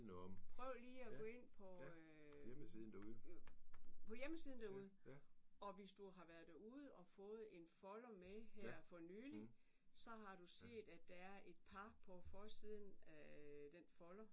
Prøv lige at gå ind på hjemmesiden derude og hvis du har været derude og fået en folder med her for nyligt så har du set at der er par på forsiden af den folder